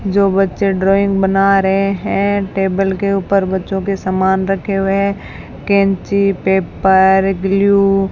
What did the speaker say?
जो बच्चे ड्राइंग बना रहे हैं टेबल के ऊपर बच्चों के सामान रखे हुए कैंची पेपर ग्लू --